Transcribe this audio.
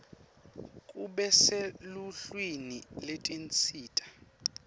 kube seluhlwini lwetinsita